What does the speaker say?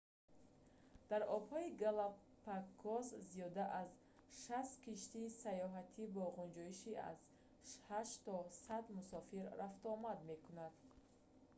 дар обҳои галапагос зиёда аз 60 киштии саёҳатӣ бо ғунҷоиши аз 8 то 100 мусофир рафтуомад мекунанд